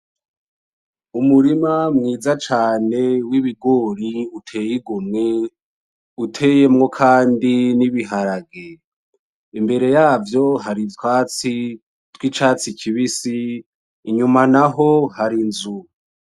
Umurima mwiza cane w'ibigori utey'igomwe, uteyemwo kandi n'ibiharage, imbere yavyo hari utwatsi tw'icatsi kibisi, inyuma naho har'inzu.